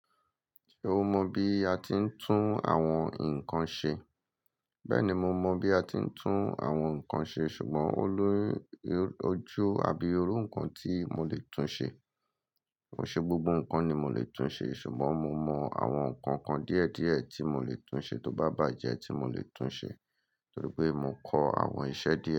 Ṣé o mọ bí a ti ń tún àwọn nǹkan ṣe? Bẹ́ẹ̀ni, mo mọ bí a ti ń tún àwọn nǹkan ṣe, ṣùgbọ́n ó l'oju, abí iru nǹkan tí mo lè tún ṣe. Kò ṣe gbogbo nǹkan ni mo lè tún ṣe, ṣùgbọ́n mo mọ àwọn nǹkan kan díẹ̀ díẹ̀ tí mo lè tún ṣe tó bá bàjẹ́ tí mo lè tún ṣe, torí pé mo kọ àwọn iṣẹ́ díẹ̀